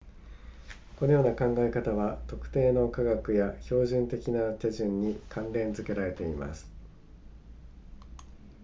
このような考え方は特定の科学や標準的な手順に関連付けられています